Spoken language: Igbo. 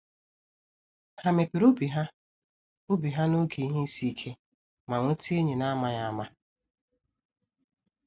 Há mepere obi ha obi ha n’oge ihe isi ike, ma nweta enyi an’amaghị ama.